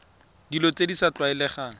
dilo tse di sa tlwaelegang